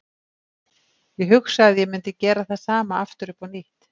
Ég hugsa að ég mundi gera það sama aftur upp á nýtt.